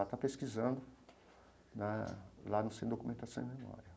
Ela está pesquisando né lá no Centro de Documentação e Memória.